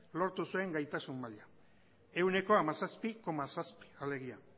lortu zuen gaitasun maila ehuneko hamazazpi koma zazpi alegia